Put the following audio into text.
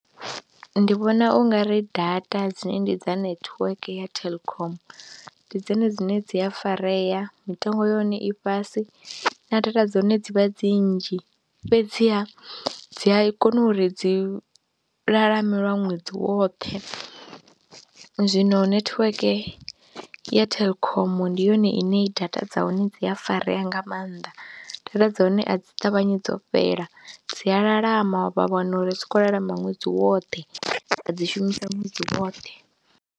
ndi vhona u nga ri data dzine ndi dza netiweke ya Telkom ndi dzone dzine dzi a farea, mitengo ya hone i fhasi na data dza hone dzi vha dzi nnzhi fhedziha dzi a i kona uri dzi lalame lwa ṅwedzi woṱhe. Zwino netiweke ya Telkom ndi yone ine data dza hone dzi a farea nga maanḓa, data dza hone a dzi ṱavhanyi dzo fhela dzi a lalama vha wana uri dzi khou lalama ṅwedzi woṱhe wa dzi shumisa ṅwedzi woṱhe.